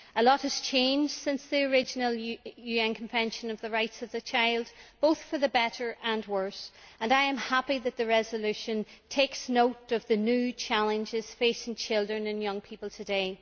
A lot has changed since the original UN Convention on the Rights of the Child, both for better and worse, and I am happy that the resolution takes note of the new challenges facing children and young people today.